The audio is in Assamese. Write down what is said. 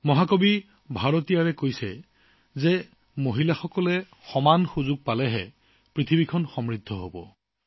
মহাকবি ভাৰতীয়ৰজী য়ে কয় যে যেতিয়া মহিলাসকলে সমান সুযোগ লাভ কৰিব তেতিয়াহে পৃথিৱীখন সমৃদ্ধিশালী হব